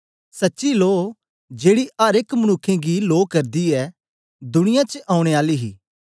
सच्ची लो जेड़ी अर एक मनुक्खें गी लो करदी ऐ दुनियां च औने आली ही